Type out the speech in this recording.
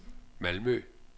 Malmø